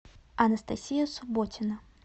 анастасия субботина